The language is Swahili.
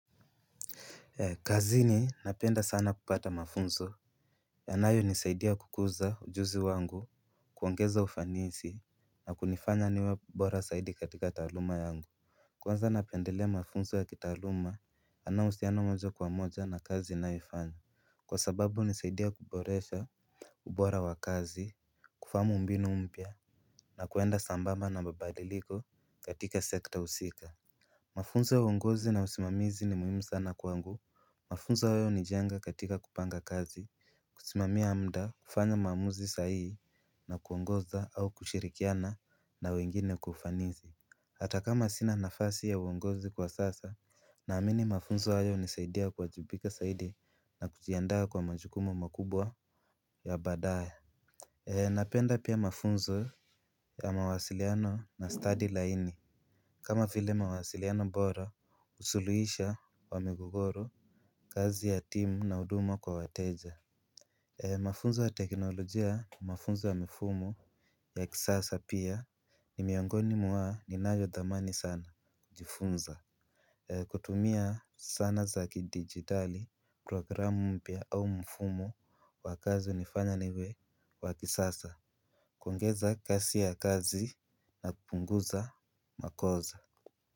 Kazini napenda sana kupata mafunzo. Yanayo nisaidia kukuza ujuzi wangu kuongeza ufanisi na kunifanya niwe bora zaidi katika taaluma yangu. Kwanza napendelea mafunzo ya kitaaluma ana uhusiano moja kwa moja na kazi ninayoifanya. Kwa sababu hunisaidia kuboresha ubora wa kazi kufahamu mbinu mpya na kuenda sambamba na mabadiliko katika sekta husika. Mafunzo ya uongozi na usimamizi ni muhimu sana kwangu. Mafunzo hayo hunijenga katika kupanga kazi kusimamia muda kufanya maamuzi sahihi na kuongoza au kushirikiana na wengine kwa ufanisi. Hata kama sina nafasi ya uongozi kwa sasa. Naamini mafunzo hayo hunisaidia kuajibika zaidi na kujianda kwa majukumu makubwa ya badaye. Napenda pia mafunzo ya mawasiliano na studi laini. Kama vile mawasiliano bora suluhisho wa migogoro kazi ya timu na huduma kwa wateja. Mafunzo ya teknolojia ni mafunzo wa mfumo ya kisasa pia ni miongoni mwa ninayo dhamani sana kujifunza. Kutumia sana za kidigitali programu mpya au mfumo wa kazi hunifanya niwe wa kisasa. Kuongeza kasi ya kazi na kupunguza makosa.